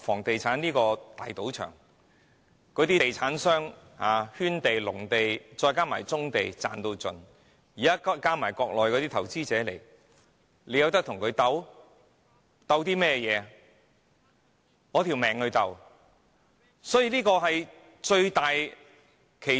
地產商可以透過圈地壟地，甚至棕地"賺到盡"，現在加上內地投資者，我們有何能力跟他們鬥法呢？